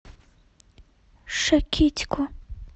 шакитько